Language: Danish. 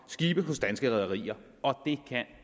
skibe hos danske rederier og det kan